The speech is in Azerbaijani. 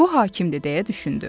Bu hakimdir deyə düşündü.